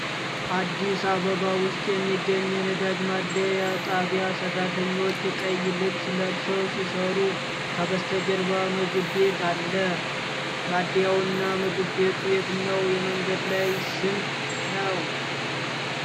አዲስ አበባ ውስጥ በሚገኝ የነዳጅ ማደያ ጣቢያ ሠራተኞች ቀይ ልብስ ለብሰው ሲሠሩ፣ ከበስተጀርባ ምግብ ቤት አለ። ማደያውና ምግብ ቤቱ የትኛው የመንገድ ላይ ስም ነው?